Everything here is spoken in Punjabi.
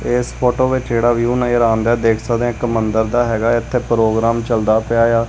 ਇਸ ਫੋਟੋ ਵਿੱਚ ਜਿਹੜਾ ਵਿਊ ਨਜ਼ਰ ਆਉਂਦਾ ਦੇਖ ਸਕਦੇ ਇੱਕ ਮੰਦਿਰ ਦਾ ਹੈਗਾ ਇਥੇ ਪ੍ਰੋਗਰਾਮ ਚਲਦਾ ਪਿਆ ਆ।